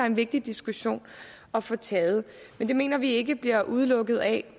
en vigtig diskussion at få taget men det mener vi ikke bliver udelukket af